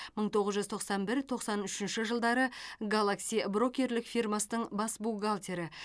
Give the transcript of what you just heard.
мың тоғыз жүз тоқсан бір тоқсан үшінші жылдары галакси брокерлік фирмасының бас бухгалтері